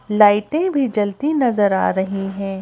लाइटे भी जलती नजर आ रहीं हैं।